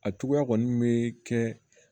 A cogoya kɔni bɛ kɛ